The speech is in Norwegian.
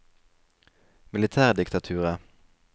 militærdiktaturet